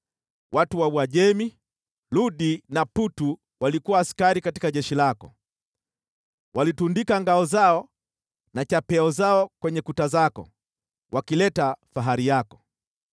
“ ‘Watu wa Uajemi, Ludi na Putu walikuwa askari katika jeshi lako. Walitundika ngao zao na chapeo zao kwenye kuta zako, wakileta fahari yako.